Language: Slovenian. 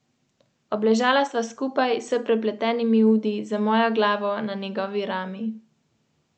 Trenutno so najbolj vroči nemški in italijanski klubi.